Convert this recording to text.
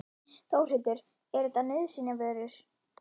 Þórhildur: Er þetta nauðsynjavörur?